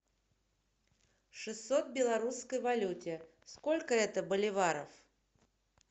шестьсот в белорусской валюте сколько это боливаров